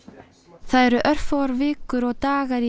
það eru örfáar vikur og dagar í